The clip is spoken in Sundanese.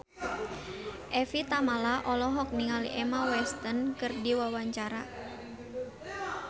Evie Tamala olohok ningali Emma Watson keur diwawancara